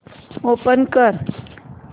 open कर